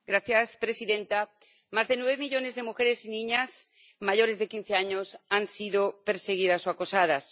Señora presidenta, más de nueve millones de mujeres y niñas mayores de quince años han sido perseguidas o acosadas.